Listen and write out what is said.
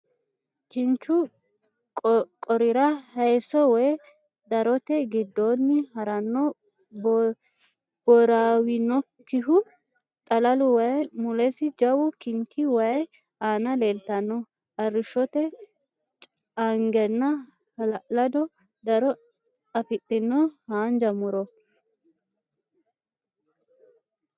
Kinchu qorira haayisso woy darote giddoonni haranno boiraawinokkihu xalalu waayi, mulesi jawu kinchi, waay aana leeltanno arrishote caangenna hala'lado daro afidhino haanja mu'ro.